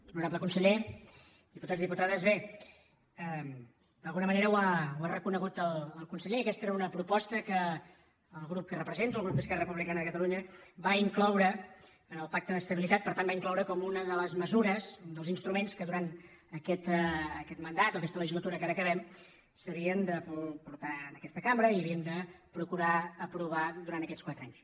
honorable conseller diputats i diputades bé d’alguna manera ho ha reconegut el conseller aquesta era una proposta que el grup que represento el grup d’esquerra republicana de catalunya va incloure en el pacte d’estabilitat per tant la va incloure com una de les mesures dels instruments que durant aquest mandat o aquesta legislatura que ara acabem s’havien de portar a aquesta cambra i havíem de procurar aprovar durant aquests quatre anys